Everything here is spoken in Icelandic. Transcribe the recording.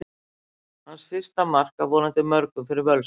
Hans fyrsta mark, af vonandi mörgum, fyrir Völsung!